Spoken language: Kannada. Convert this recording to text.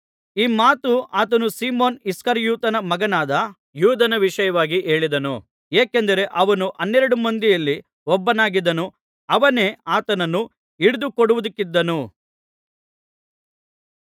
ಈ ಮಾತು ಆತನು ಸೀಮೋನ್ ಇಸ್ಕರಿಯೋತನ ಮಗನಾದ ಯೂದನ ವಿಷಯವಾಗಿ ಹೇಳಿದನು ಏಕೆಂದರೆ ಅವನು ಹನ್ನೆರಡು ಮಂದಿಯಲ್ಲಿ ಒಬ್ಬನಾಗಿದ್ದು ಅವನೇ ಆತನನ್ನು ಹಿಡಿದು ಕೊಡುವುದಕ್ಕಿದ್ದನು